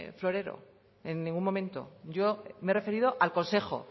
florero en ningún momento yo me he referido al consejo